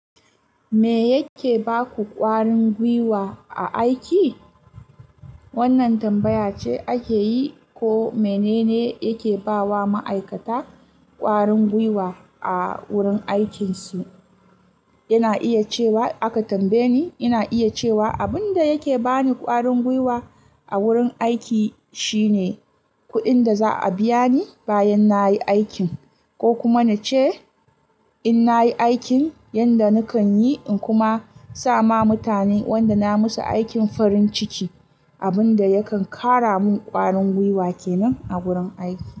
Me yake baku ƙwarin gwiwa a aiki? Wannan tambaya ce ake yi ko menene yake ba wa ma'aikata ƙwarin gwiwa a wurin aikinsu. Ina iya cewa aka tambaye ni, ina iya cewa abin da yake bani ƙwarin gwiwa a wurin aiki shine kuɗin da za a biya ni bayan nayi aikin, ko kuma nace in nayi aikin yadda nakan yi, in kuma sama mutanen wadda na musu aikin farin ciki, abin da yakan kara mun ƙwarin gwiwa kenan a wurin aiki.